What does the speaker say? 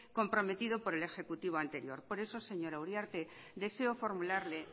comprometido por el ejecutivo anterior por eso señora uriarte deseo formularle